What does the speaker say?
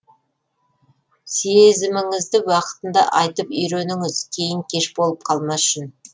сезіміңізді уақытында айтып үйреніңіз кейін кеш болып қалмас үшін